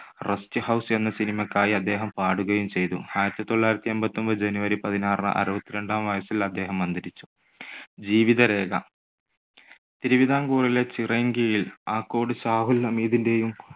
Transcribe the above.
Rest house എന്ന സിനിമയ്ക്കായി അദ്ദേഹം പാടുകയും ചെയ്തു. ആയിരത്തി തൊള്ളായിരത്തി എൺപത്തൊൻപത് January പതിനാറിന് അറുപത്തിരണ്ടാം വയസ്സിൽ അദ്ദേഹം അന്തരിച്ചു. ജീവിതരേഖ. തിരുവിതാംകൂറിലെ ചിറയൻകീഴിൽ ആക്കോട് ഷാഹുൽ ഹമീദിന്റെയും